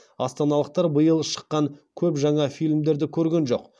астаналықтар биыл шыққан көп жаңа фильмдерді көрген жоқ